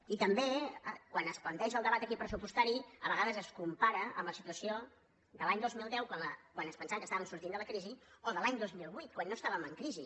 i també quan es planteja el debat aquí pressupostari a vegades es compara amb la situació de l’any dos mil deu quan ens pensàvem que estàvem sortint de la crisi o de l’any dos mil vuit quan no estàvem en crisi